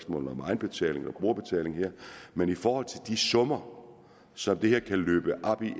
om egenbetaling og brugerbetaling her men i forhold til de store summer som det her efterfølgende kan løbe op i